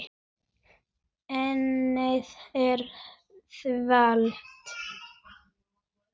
Ennið er þvalt.